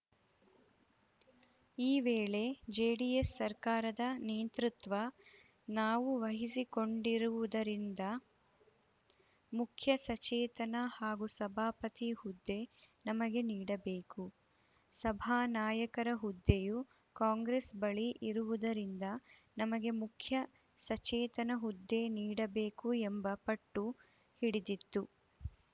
ಈ ವೇಳೆ ಜೆಡಿಎಸ್‌ ಸರ್ಕಾರದ ನೇತೃತ್ವ ನಾವು ವಹಿಸಿಕೊಂಡಿರುವುದರಿಂದ ಮುಖ್ಯಸಚೇತಕ ಹಾಗೂ ಸಭಾಪತಿ ಹುದ್ದೆ ನಮಗೆ ನೀಡಬೇಕು ಸಭಾನಾಯಕರ ಹುದ್ದೆಯು ಕಾಂಗ್ರೆಸ್‌ ಬಳಿ ಇರುವುದರಿಂದ ನಮಗೆ ಮುಖ್ಯ ಸಚೇತನ ಹುದ್ದೆ ನೀಡಬೇಕು ಎಂಬ ಪಟ್ಟು ಹಿಡಿದಿತ್ತು